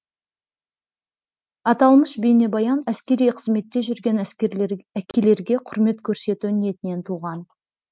аталмыш бейнебаян әскери қызметте жүрген әкелерге құрмет көрсету ниетінен туған